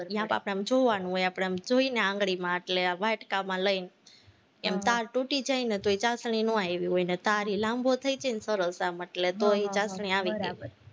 ન્યા તો આપણે જોવાનું હોય, આપણે આમ જોઈને આંગળીમાં એટલે વાટકામાં લઈને એમ તાર તૂટી જાય ને તો ઈ ચાસણી નો આવી હોય, નઈ તાર ઈ લાંબો થઇ જાય ને સરસ આમ એટલે ઈ ચાસણી આવી ગઈ